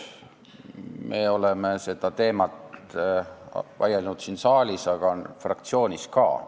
Me oleme sellel teemal vaielnud siin saalis, aga fraktsioonis ka.